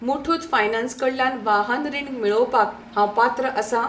Muthoot finance कडल्यान वाहन रीण मेळोवपाक हांव पात्र आसां?